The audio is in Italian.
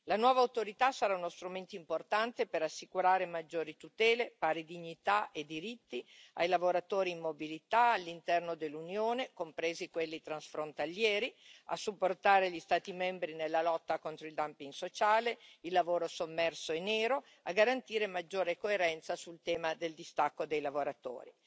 La nuova Autorità sarà uno strumento importante per assicurare maggiori tutele, pari dignità e diritti ai lavoratori in mobilità all'interno dell'Unione, compresi quelli transfrontalieri, a supportare gli Stati membri nella lotta contro il dumping sociale, il lavoro sommerso e nero, a garantire maggiore coerenza sul tema del distacco dei lavoratori.